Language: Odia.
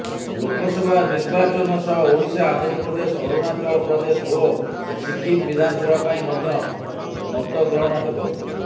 ଲୋକସଭା ନିର୍ବାଚନ ସହ ଓଡ଼ିଶା ଆନ୍ଧ୍ରପ୍ରଦେଶ ଅରୁଣାଚଳପ୍ରଦେଶ ଓ ସିକିମ୍ ବିଧାନସଭା ପାଇଁ ମଧ୍ୟ ମତଗ୍ରହଣ ହେବ